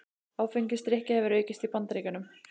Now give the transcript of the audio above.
Áfengisdrykkja hefur aukist í Bandaríkjunum